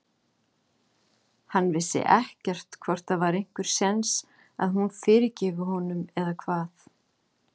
Hann vissi ekkert hvort það væri einhver sjens að hún fyrirgæfi honum eða hvað.